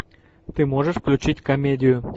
ты можешь включить комедию